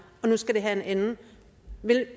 og nu skal det have en ende vil